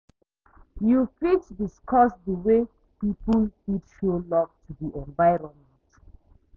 You fit dicuss di way people fit show love to di environment?